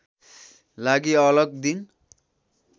लागि अलग दिन